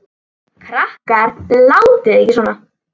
Krakkar látiði ekki svona!